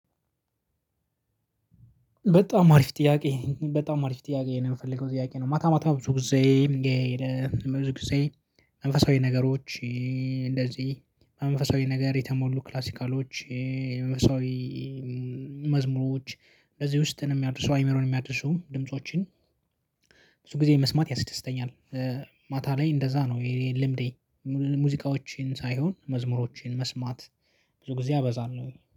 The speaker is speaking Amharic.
በጣም አሪፍ ጥያቄ በጣም አሪፍ ጥያቄ ነው የምፈልገው ጥያቄ ነው ማታ ማታ ብዙ ጊዜ ብዙ ጊዜ መንፈሳዊ ነገሮች እንደዚህ መንፈሳዊ ነገር የተሞሉ ክላሲካሎች። መንፈሳዊ መዝሙሮች እዚህ ውስጥ ነው የሚያድሱ አይምሮን የሚያድሱ ድምፆችን። ብዙ ጊዜ መስማት ያስደስተኛል። ማታ ላይ እንደዛ ነው ልምዴ። ሙዚቃዎችን ሳይሆን መዝሙሮችን መስማት ብዙ ጊዜ አበዛለሁ